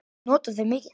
Ég nota þau mikið.